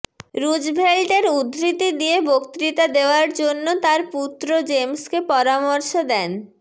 Roosevelt এর উদ্ধৃতি দিয়ে বক্তৃতা দেওয়ার জন্য তার পুত্র জেমসকে পরামর্শ দেন